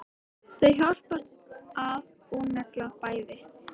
Þau hjálpast að og negla bæði.